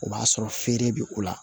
O b'a sɔrɔ feere bɛ o la